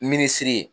Minisiri ye